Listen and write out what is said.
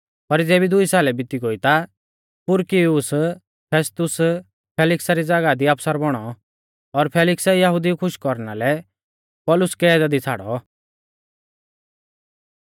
पर ज़ेबी दुई सालै बिती गोई ता पुरकियुस फेस्तुस फेलिक्सा री ज़ागाह दी आफसर बौणौ और फेलिक्सै यहुदिऊ खुश कौरना लै पौलुस कैदा दी छ़ाड़ौ